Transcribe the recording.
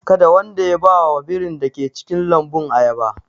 Kada wanda ya ba wa birin da ke cikin lambun ayaba!